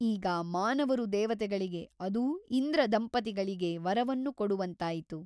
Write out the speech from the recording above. ಈಗ ಮಾನವರು ದೇವತೆಗಳಿಗೆ ಅದೂ ಇಂದ್ರದಂಪತಿಗಳಿಗೆ ವರವನ್ನು ಕೊಡುವಂತಾಯಿತು.